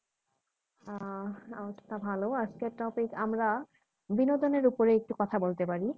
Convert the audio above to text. আহ আজকের topic আমরা বিনোদনের ওপর একটু কথা বলতে পারি